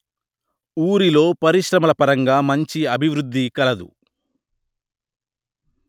ఊరిలో పరిశ్రమల పరంగా మంచి అభివృద్ది కలదు